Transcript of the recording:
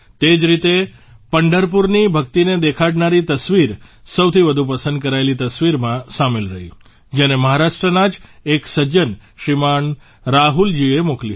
તે જ રીતે પંઢરપુરની ભક્તિને દેખાડનારી તસવીર સૌથી વધુ પસંદ કરાયેલી તસવીરમાં સામેલ રહી જેને મહારાષ્ટ્રના જ એક સજ્જન શ્રીમાન રાહુલજીએ મોકલી હતી